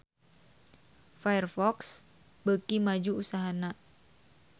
Firefox beuki maju usahana